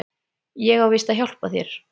Ég á víst að hjálpa þér.